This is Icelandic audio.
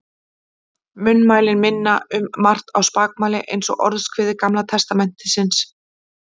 Munnmælin minna um margt á spakmæli eins og Orðskviði Gamla testamentisins.